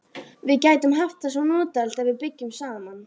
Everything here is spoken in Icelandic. Við gætum haft það svo notalegt ef við byggjum saman.